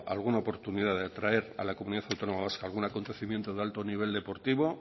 alguna oportunidad de atraer a la comunidad autónoma vasca algún acontecimiento de alto nivel deportivo